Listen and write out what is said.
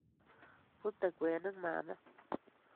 Bute kwenik mama